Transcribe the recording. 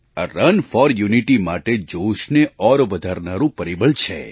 આ run for unity માટે જોશને ઓર વધારનારું પરિબળ છે